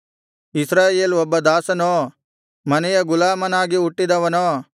ಇಸ್ರಾಯೇಲ್ ಒಬ್ಬ ದಾಸನೋ ಮನೆಯ ಗುಲಾಮನಾಗಿ ಹುಟ್ಟಿದವನೋ